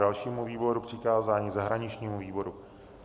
Dalšímu výboru přikázání - zahraničnímu výboru.